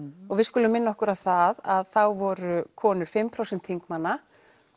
og við skulum minna okkur á það að þá voru konur fimm prósent þingmanna